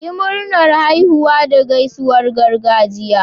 Yi Murnar haihuwa da gaisuwar gargajiya.